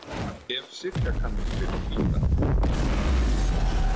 Ef Sigga kann að spila á gítar.